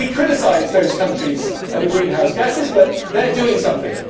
We criticise those countries over greenhouse gases but they are doing something.